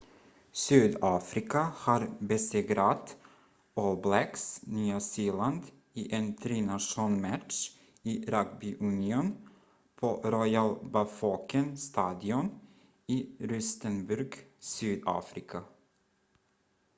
sydafrika har besegrat all blacks nya zeeland i en tri nations-match i rugby union på royal bafokeng-stadion i rustenburg sydafrika